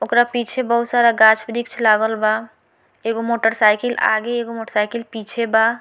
ओकरा पीछे बहुत सारा गाछ-वृक्ष लागल बा एगो मोटरसाइकिल आगे एगो मोटरसाइकिल पीछे बा।